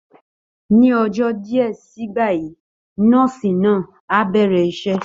Ní ọjọ́ díẹ̀ sígbà yìí, nọ́ọ̀sì náà á bẹ̀rẹ̀ iṣẹ́